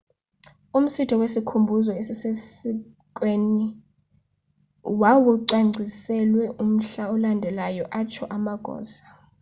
umsitho wesikhumbuzo esisesiikweni wawucwangciselwe umhla olandelayo atsho amagosa